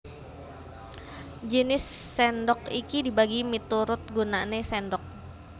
Jinis sèndhok iki dibagi miturut gunané sèndhok